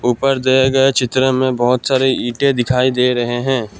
ऊपर दिए गए चित्र में बहुत सारे ईंटें दिखाई दे रहे हैं।